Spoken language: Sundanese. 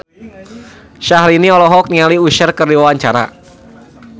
Syaharani olohok ningali Usher keur diwawancara